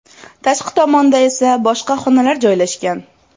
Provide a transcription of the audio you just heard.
Tashqi tomonda esa boshqa xonalar joylashgan.